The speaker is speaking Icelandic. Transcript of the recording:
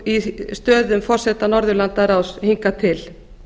í stöðum forseta norðurlandaráðs hingað til